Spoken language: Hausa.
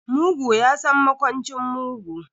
Mugu ya san makwancin mugu.